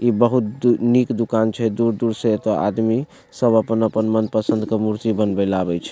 इ बहुत निक दुकान छै दूर-दूर से एता आदमी सब अपन-अपन मन पसन्द के मूर्ति बनवे ले आवे छै।